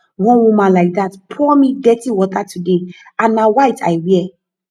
one woman like dat pour me dirty water today and na white i wear